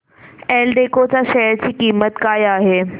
एल्डेको च्या शेअर ची किंमत काय आहे